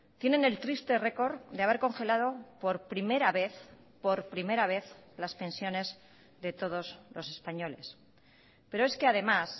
tienen el triste récord de haber congelado por primera vez por primera vez las pensiones de todos los españoles pero es que además